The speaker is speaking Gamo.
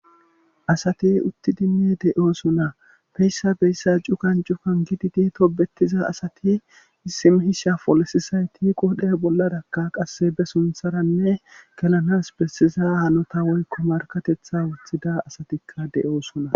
asati uttidinne de7oosuna peyssa beyssa cukan cukan gididi tobetiza asati issimehisha folesisay ti qudhe bollarakka qasse be suntharanne gelanas bessiza hanota woykko markatetha wuthida asatikka de7oosuna